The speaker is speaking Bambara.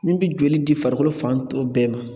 Min bɛ joli di farikolo fan tɔ bɛɛ ma